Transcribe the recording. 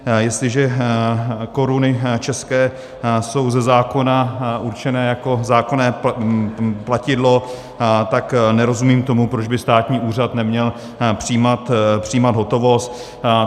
Jestliže koruny české jsou ze zákona určené jako zákonné platidlo, tak nerozumím tomu, proč by státní úřad neměl přijímat hotovost.